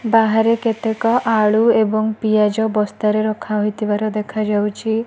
ବାହାରେ କେତେକ ଆଳୁ ଏବଂ ପିଆଜ ବସ୍ତାରେ ରଖାହେଇଥିବାର ଦେଖାଯାଉଚି।